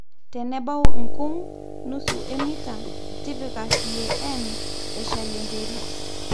tenebau nkung (nusu emita),tipika CAN eshal enterit